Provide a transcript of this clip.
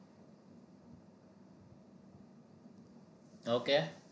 okay